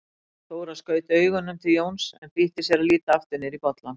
Þóra skaut augunum til Jóns, en flýtti sér að líta aftur niður í bollann.